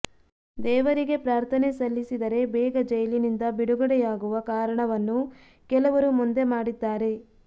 ದೇವರಿಗೆ ಪ್ರಾರ್ಥನೆ ಸಲ್ಲಿಸಿದರೆ ಬೇಗ ಜೈಲಿನಿಂದ ಬಿಡುಗಡೆಯಾಗುವ ಕಾರಣವನ್ನು ಕೆಲವರು ಮುಂದೆ ಮಾಡಿದ್ದಾರೆ